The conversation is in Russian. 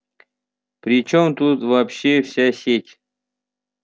при чем тут вообще вся сеть